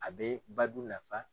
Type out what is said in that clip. A bɛ badu nafa.